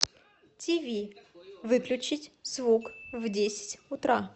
тиви выключить звук в десять утра